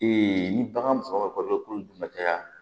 ni bagan faga kɔlɔn dun ka caya